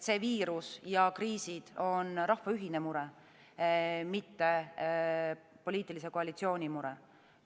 See viirus ja kriisid on rahva ühine mure, mitte poliitilise koalitsiooni mure.